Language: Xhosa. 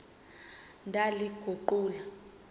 ndaliguqula